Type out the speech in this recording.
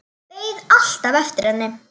Beið alltaf eftir henni.